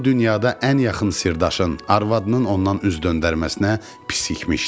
Bu dünyada ən yaxın sirdaşın, arvadının ondan üz döndərməsinə pisikmişdi.